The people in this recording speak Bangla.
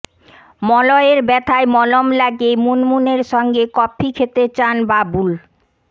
মলয়ের ব্যথায় মলম লাগিয়ে মুনমুনের সঙ্গে কফি খেতে চান বাবুল